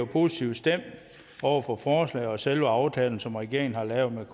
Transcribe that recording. positivt stemt over for forslaget og selve aftalen som regeringen har lavet med